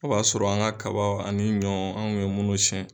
O b'a sɔrɔ an ka kaba ani ɲɔ an tun bɛ siɲɛ